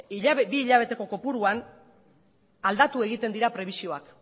bi hilabeteko kopuruan aldatu egiten dira prebisioak